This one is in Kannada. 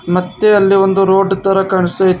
ಮತ್ತೆ ಅಲ್ಲಿ ಒಂದು ರೋಡ್ ತರ ಕಾಣಿಸ್ತಾ ಇತ್ತು.